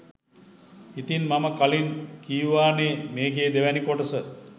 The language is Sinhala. ඉතින් මම කලින් කීවානේ මේකේ දෙවැනි කොටස